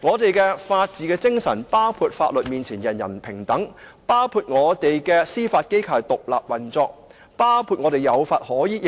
我們的法治精神包含"法律面前，人人平等"、司法機構獨立運作，並且凡事有法可依。